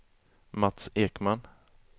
Mats Ekman